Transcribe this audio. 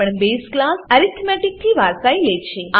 આ પણ base class arithmetic arithmetic થી વારસાઈ લે છે